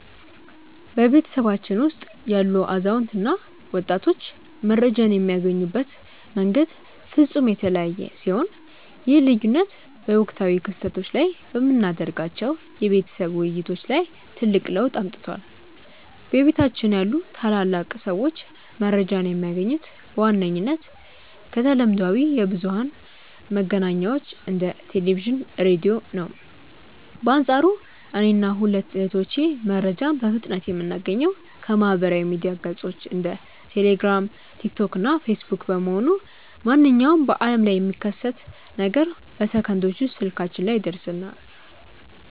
በቤተሰባችን ውስጥ ያሉ አዛውንት እና ወጣቶች መረጃን የሚያገኙበት መንገድ ፍጹም የተለያየ ሲሆን፣ ይህ ልዩነት በወቅታዊ ክስተቶች ላይ በምናደርጋቸው የቤተሰብ ውይይቶች ላይ ትልቅ ለውጥ አምጥቷል። በቤታችን ያሉ ታላላቅ ሰዎች መረጃን የሚያገኙት በዋነኝነት ከተለምዷዊ የብዙኃን መገናኛዎች እንደ ቴሌቪዥን፣ ራዲዮ ነው። በአንፃሩ እኔና ሁለቱ እህቶቼ መረጃን በፍጥነት የምናገኘው ከማኅበራዊ ሚዲያ ገጾች (እንደ ቴሌግራም፣ ቲክቶክ እና ፌስቡክ) በመሆኑ፣ ማንኛውም በዓለም ላይ የሚከሰት ነገር በሰከንዶች ውስጥ ስልካችን ላይ ይደርሰናል።